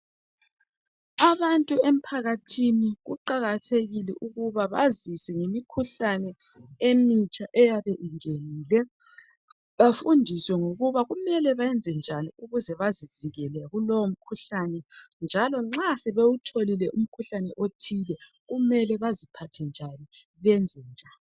Abantu emphakathini kuqakathekile ukuba bazizwe imikhuhlani emitsha eyabe inganile bafundiswe ngokuba kumele benze njani ukuba bazivikele kulowo mkhuhlane njalo nxa sebewutholile umkhuhlane othile kumele baziphathe njani benze njani.